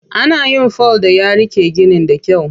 Ana yin fol da ya riƙe ginin da kyau.